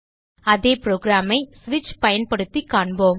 அதே புரோகிராம் ஐ ஸ்விட்ச் பயன்படுத்திக் காண்போம்